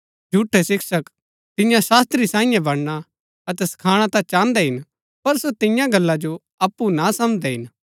झूठै शिक्षक तिन्या शास्त्री सांईये बणना अतै सखाणा ता चाहन्दै हिन पर सो तिन्या गल्ला जो अप्पु ना समझदै हिन